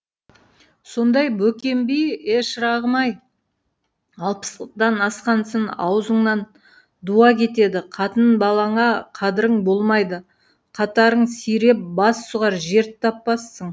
сонда бөкен би е шырағым ай алпыстан асқансын ауызыңнан дуа кетеді қатын балаңа қадірің болмайды қатарың сиреп бас сұғар жер таппассың